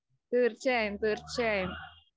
തീര്‍ച്ചയായും, തീര്‍ച്ചയായും.